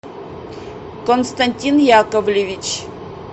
константин яковлевич